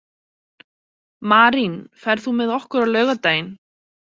Marín, ferð þú með okkur á laugardaginn?